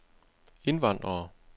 indvandrere